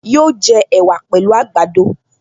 Yóò jẹ ẹ̀wà pẹ̀lú àgbàdo